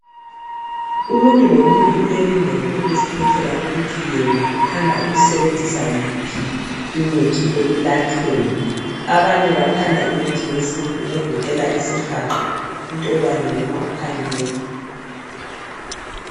Umuntu lomuntu ulelungelo lokuzikhethela ukuthi yena uthanda ukusebenzisa yiphi imithi ekulatshweni. Abanye bathanda imithi yesintu egoqela isihaqa, intolwane noma ukhalimela.